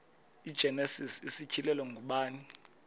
igenesis isityhilelo ngubani